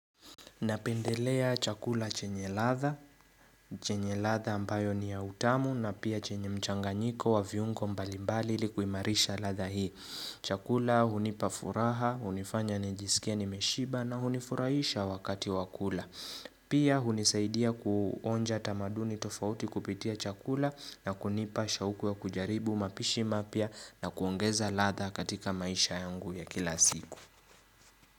Napendelea chakula chenye ladha, chenye ladha ambayo ni ya utamu na pia chenye mchanganyiko wa viungo mbalimbali ili kuimarisha ladha hii. Chakula hunipa furaha, unifanya nijisikie nimeshiba na hunifurahisha wakati wa kula. Pia hunisaidia kuonja tamaduni tofauti kupitia chakula na kunipa shauku ya kujaribu mapishi mapya na kuongeza ladha katika maisha yangu ya kila siku.